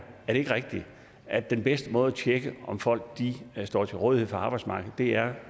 er det ikke rigtigt at den bedste måde at tjekke på om folk står til rådighed for arbejdsmarkedet er